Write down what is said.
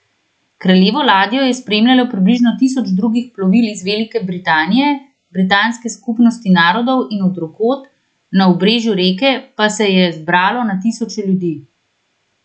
Kraljevo ladjo je spremljalo približno tisoč drugih plovil iz Velike Britanije, Britanske skupnosti narodov in od drugod, na obrežju reke pa se je zbralo na tisoče ljudi.